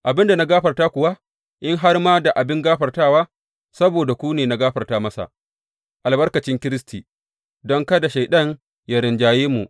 Abin da na gafarta kuwa, in har ma da abin gafartawa, saboda ku ne na gafarta masa, albarkacin Kiristi, don kada Shaiɗan yă rinjaye mu.